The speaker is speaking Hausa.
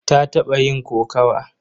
Ta taɓa yin kokawa.